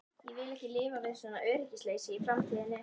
Ég vil ekki lifa við svona öryggisleysi í framtíðinni.